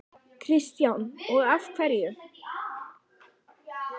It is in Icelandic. Kristján: Og af hverju?